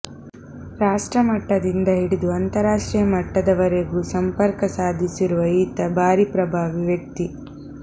ರಾಷ್ಟ್ರಮಟ್ಟದಿಂದ ಹಿಡಿದು ಅಂತಾರಾಷ್ಟ್ರೀಯ ಮಟ್ಟದವರೆಗೂ ಸಂಪರ್ಕ ಸಾಧಿಸಿರುವ ಈತ ಭಾರೀ ಪ್ರಭಾವಿ ವ್ಯಕ್ತಿ